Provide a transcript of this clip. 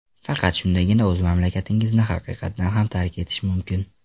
Faqat shundagina o‘z mamlakatingizni haqiqatan ham tark etish mumkin.